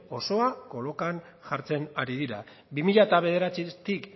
osoa kolokan jartzen ari dira bi mila bederatzitik